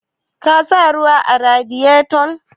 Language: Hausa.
Ka sa ruwa a Radiyeto?